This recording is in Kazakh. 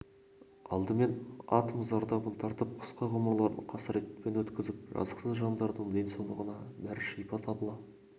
алдымен атом зардабын тартып қысқа ғұмырларын қасіретпен өткізіп жатқан жазықсыз жандардың денсаулығына бір шипа табыла